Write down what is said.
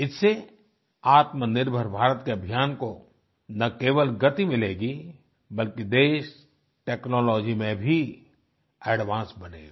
इससे आत्मनिर्भर भारत के अभियान को न केवल गति मिलेगी बल्कि देश टेक्नोलॉजी में भी एडवांस बनेगा